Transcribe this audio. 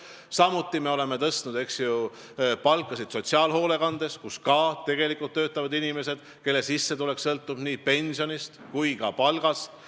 Samuti oleme tõstnud palka sotsiaalhoolekandes, kus ka töötavad inimesed, kelle sissetulek sõltub nii pensionist kui ka palgast.